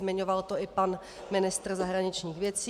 Zmiňoval to i pan ministr zahraničních věcí.